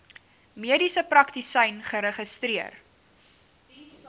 mediese praktisyn geregistreer